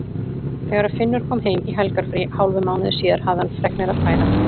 Þegar Finnur kom heim í helgarfrí hálfum mánuði síðar hafði hann fregnir að færa.